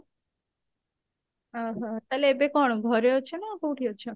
ଓଃ ହୋ ତାହାଲେ ଏବେ କଣ ଘରେ ଅଛ ନା କଉଠି ଅଛ?